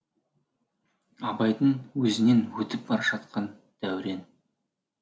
абайдың өзінен өтіп бара жатқан дәурен